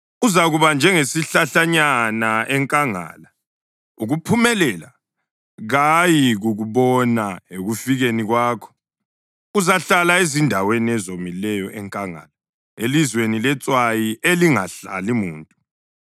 Uzakuba njengesihlahlanyana enkangala; ukuphumelela kayikukubona ekufikeni kwakho. Uzahlala ezindaweni ezomileyo enkangala, elizweni letswayi elingahlali muntu.